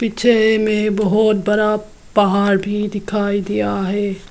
पीछे में बहुत बड़ा पहाड़ भी दिखाई दिया है।